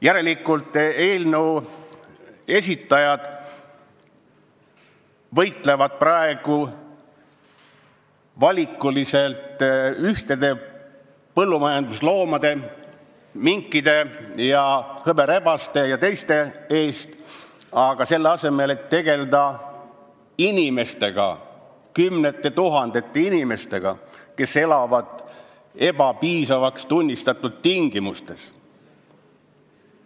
Järelikult võitlevad eelnõu esitajad praegu valikuliselt mõnede põllumajandusloomade, minkide, hõberebaste ja teiste eest, selle asemel et tegelda kümnete tuhandete inimestega, kes elavad ebapiisavaks tunnistatud tingimustes.